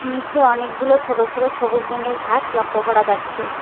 নিচে অনেকগুলো ছোট ছোট সবুজ রঙের ঘাস লক্ষ্য করা যাচ্ছে।